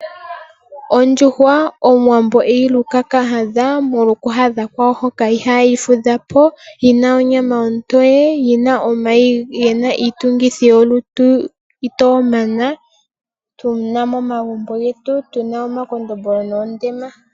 Ondjuhwa omuwambo eyi luka kahadha, molwa oku hadha kwayo hoka ihayi fudhapo. Yina onyama ontoye. Yina omayi gena iitungithi yolutu ito mana. Tuna momagumbo getu, tuna omakondombolo noondema.